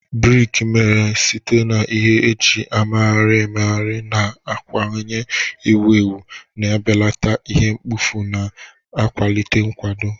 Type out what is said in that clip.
Briki mere site na ihe eji emegharịgharị na-aghọwanye ewu ewu, na-ebelata ihe mkpofu ma na-akwalite nkwado.